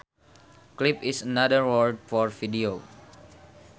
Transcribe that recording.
Clip is another word for video